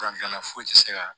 Fura gilanna foyi ti se ka